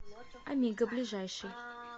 амиго ближайший